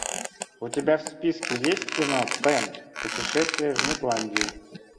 у тебя в списке есть кино пэн путешествие в нетландию